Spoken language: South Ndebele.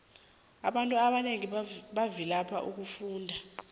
abantu abanengi bavilapha ukufunda